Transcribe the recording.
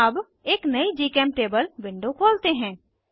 अब एक नयी जीचेमटेबल विंडो खोलते हैं